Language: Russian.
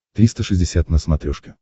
триста шестьдесят на смотрешке